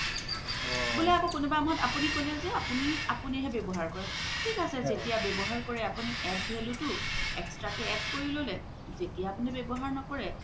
বুলে কোনোবা সময়ত আপুনি ক'লে জে আপুনি, আপুনি হে ৱ্যাবহাৰ কৰে থিক আছে যেতিয়া ৱ্যাবহাৰ কৰে আপুনি add value তো extra কে add কৰি ল'লে যেতিয়া আপুনি ৱ্যাবহাৰ নকৰে